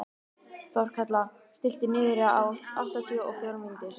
Þorkatla, stilltu niðurteljara á áttatíu og fjórar mínútur.